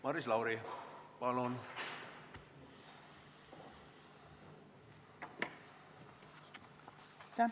Maris Lauri, palun!